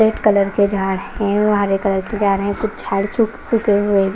red colour के जा रहे है और हरे कलर के जा रहे है कुछ छाड़ छुक फूंके हुए--